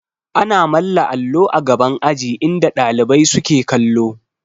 Ana manna allo a gaban aji inda ɗalibai suke kallo